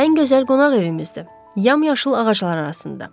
Ən gözəl qonaq evimizdir, yamyaşıl ağaclar arasında.